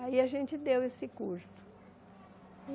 Aí a gente deu esse curso.